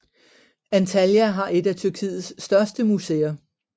Antalya har et af Tyrkiets største museer